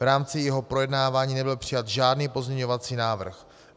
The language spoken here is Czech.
V rámci jeho projednávání nebyl přijat žádný pozměňovací návrh.